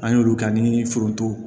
An y'olu ka ni foronto